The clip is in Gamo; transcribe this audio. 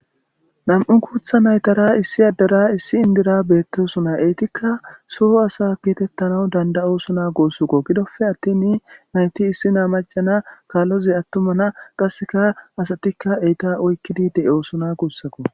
Nam'u guuththa naytara issi addera issi indira bettossonna ettikka so asa getetanawu dandayosona gussakko giddoppe attin nayti issiniya maca na kaalozi atumma na qasekka asati naytta oyqidi de'ossonna gussakko